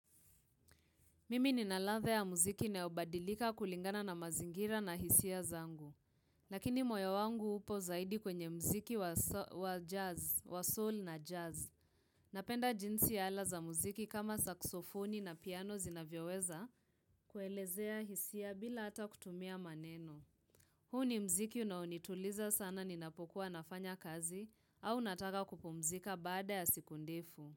Mimi nina ladha ya muziki inayobadilika kulingana na mazingira na hisia zangu. Lakini moyo wangu upo zaidi kwenye muziki wa jazz, wa soul na jazz. Napenda jinsi ala za muziki kama saksofoni na piano zinavyoweza kuelezea hisia bila hata kutumia maneno. Huu ni muziki unaonituliza sana ninapokuwa nafanya kazi au nataka kupumzika baada ya siku ndefu.